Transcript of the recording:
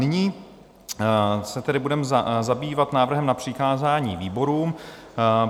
Nyní se tedy budeme zabývat návrhem na přikázání výborům.